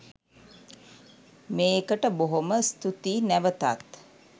මේකට බොහොම ස්තුතියි නැවතත්